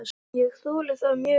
Ég þoli það mjög illa.